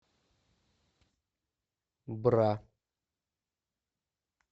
бра